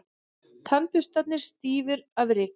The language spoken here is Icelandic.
Tannburstarnir stífir af ryki.